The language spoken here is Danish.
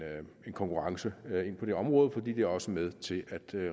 konkurrence ind på det område fordi det også er med til at